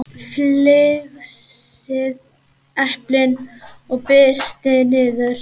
Flysjið eplin og brytjið niður.